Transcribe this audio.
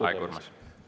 Aeg, Urmas!